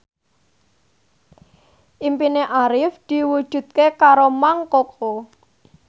impine Arif diwujudke karo Mang Koko